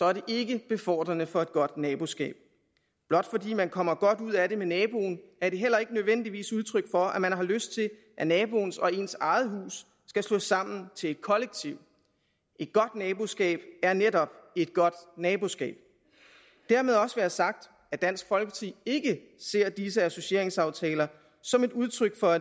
er det ikke befordrende for et godt naboskab blot fordi man kommer godt ud af det med naboen er det heller ikke nødvendigvis udtryk for at man har lyst til at naboens og ens eget hus skal slås sammen til et kollektiv et godt naboskab er netop et godt naboskab dermed også være sagt at dansk folkeparti ikke ser disse associeringsaftaler som et udtryk for